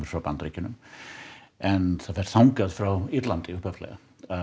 frá Bandaríkjunum en hún fer þangað frá Írlandi upphaflega